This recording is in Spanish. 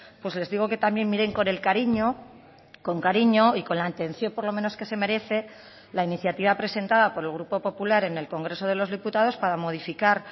pues les digo que también miren con el cariño con cariño y con la atención por lo menos que se merece la iniciativa presentada por el grupo popular en el congreso de los diputados para modificar